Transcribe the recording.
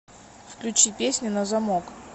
включи песня на замок